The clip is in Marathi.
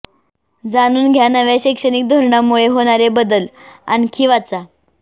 जाणून घ्या नव्या शैक्षणिक धोरणामुळे होणारे बदल आणखी वाचा